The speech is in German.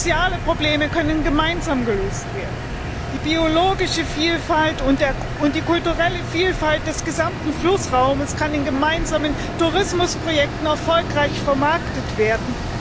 Soziale Probleme können gemeinsam gelöst werden. Die biologische Vielfalt und die kulturelle Vielfalt des gesamten Flussraumes können in gemeinsamen Tourismusprojekten erfolgreich vermarktet werden.